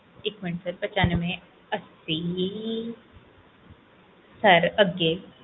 ਇੱਕ ਮਿੰਟ ਪਛਾਂਵੇ ਅੱਸੀ sir ਅੱਗੇ